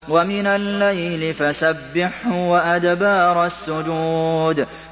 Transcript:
وَمِنَ اللَّيْلِ فَسَبِّحْهُ وَأَدْبَارَ السُّجُودِ